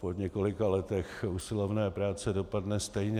Po několika letech usilovné práce dopadne stejně.